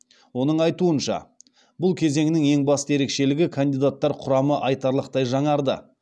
оның айтуынша бұл кезеңнің ең басты ерекшелігі кандидаттар құрамы айтарлықтай жаңарды